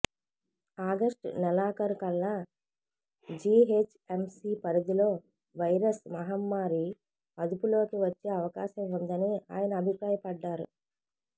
August నెలఖారుకల్లా GHMC పరిధిలో virus మహమ్మారి అదుపులోకి వచ్చే అవకాశం ఉందని ఆయన అభిప్రాయపడ్డారు